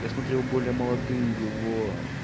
я смотрел более молодые его